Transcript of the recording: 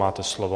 Máte slovo.